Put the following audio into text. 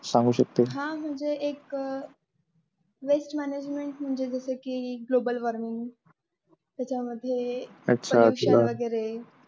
सांगू शकते? हा म्हणजे एक waste management म्हणजे जसं की global warming त्याच्यामध्ये